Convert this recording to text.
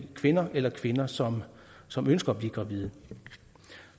kvinder eller kvinder som som ønsker at blive gravide